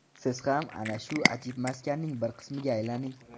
Siz ham ana shu ajib maskanning bir qismiga aylaning.